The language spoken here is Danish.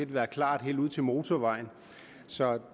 var klar helt ud til motorvejen så